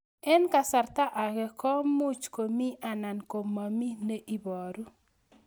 Eng' kasarta ag'e ko much ko mii anan komamii ne ibaru